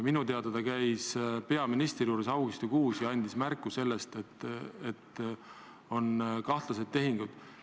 Minu teada käis ta augustis peaministri juures ja andis märku, et on kahtlasi tehinguid.